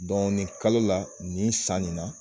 Dɔɔni kalo la nin san nin na